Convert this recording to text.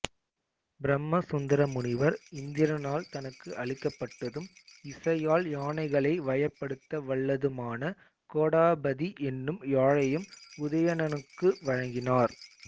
பிரமசுந்தர முனிவர் இந்திரனால் தனக்கு அளிக்கப்பட்டதும் இசையால் யானைகளை வயப்படுத்த வல்லதுமான கோடபதி என்னும் யாழையும் உதயணனுக்கு வழங்கினார்